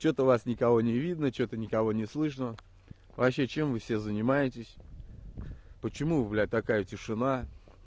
что-то вас никого не видно что-то никого не слышно вообще чем вы все занимаетесь почему блять такая тишина